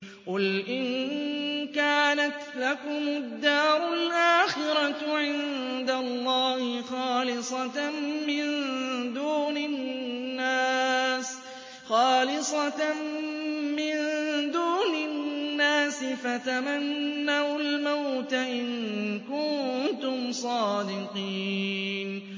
قُلْ إِن كَانَتْ لَكُمُ الدَّارُ الْآخِرَةُ عِندَ اللَّهِ خَالِصَةً مِّن دُونِ النَّاسِ فَتَمَنَّوُا الْمَوْتَ إِن كُنتُمْ صَادِقِينَ